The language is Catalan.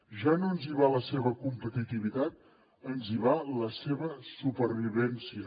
ja no ens hi va la seva competitivitat ens hi va la seva supervivència